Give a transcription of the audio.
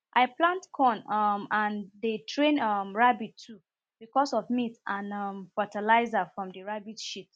i plant corn um and dey train um rabbit too becos of meat and um fatalizer from the rabbit shit